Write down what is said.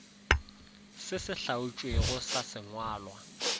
se se hlaotšwego sa sengwalwa